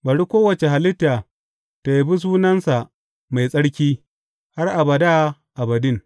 Bari kowace halitta ta yabi sunansa mai tsarki har abada abadin.